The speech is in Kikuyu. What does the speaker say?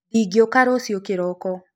Ndĩngĩũka rũcĩo kĩroko.